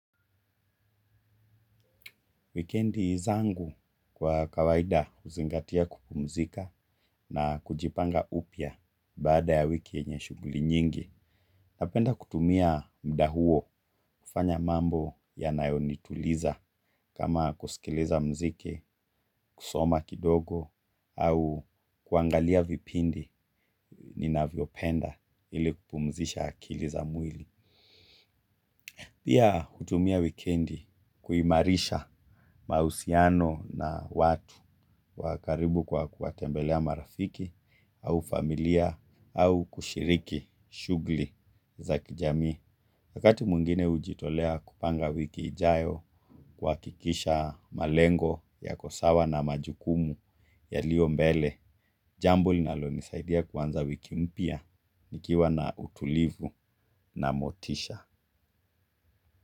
Wikendi zangu kwa kawaida uzingatia kupumzika na kujipanga upya baada ya wiki yenye shuguli nyingi. Napenda kutumia muda huo kufanya mambo yanayonituliza kama kusikiliza mziki, kusoma kidogo au kuangalia vipindi ninavyopenda ili kupumzisha akili za mwili. Pia hutumia wikendi kuimarisha mausiano na watu wa karibu kwa kuwa tembelea marafiki au familia au kushiriki shugli za kijamii. Wakati mwingine ujitolea kupanga wiki ijayo kuakikisha malengo yako sawa na majukumu yalio mbele, jambo linalonisaidia kuanza wiki mpya nikiwa na utulivu na motisha.